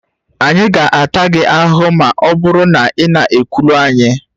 Anyị ga-ata gị ahụhụ ma ọ bụrụ na ị na-ekwulu anyị